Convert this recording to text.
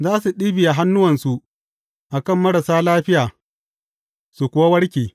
Za su ɗibiya hannuwansu a kan marasa lafiya, su kuwa warke.